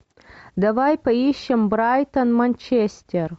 давай поищем брайтон манчестер